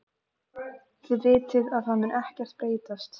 Þið vitið að það mun ekkert breytast.